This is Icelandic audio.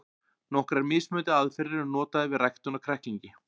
Nokkrar mismunandi aðferðir eru notaðar við ræktun á kræklingi.